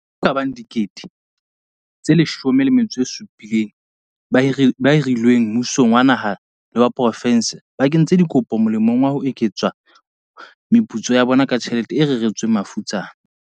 Batho ba kabang 17 000 ba hirilweng mmusong wa naha le wa profense ba kentse dikopo molemong wa ho eketsa meputso ya bona ka tjhelete e reretsweng mafutsana.